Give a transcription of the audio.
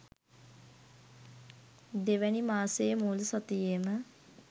දෙවැනි මාසයේ මුල් සතියේම